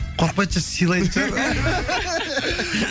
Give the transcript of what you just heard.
қорқпайды сыйлайтын шығар